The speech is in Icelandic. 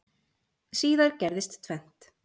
Síðar gerðist tvennt.